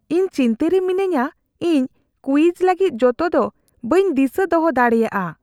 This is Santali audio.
ᱤᱧ ᱪᱤᱱᱛᱟᱹ ᱨᱮ ᱢᱤᱱᱟᱹᱧᱟ ᱤᱧ ᱠᱩᱭᱤᱡᱽ ᱞᱟᱹᱜᱤᱫ ᱡᱚᱛᱚ ᱫᱚ ᱵᱟᱹᱧ ᱫᱤᱥᱟᱹ ᱫᱚᱦᱚ ᱫᱟᱲᱮᱭᱟᱜᱼᱟ ᱾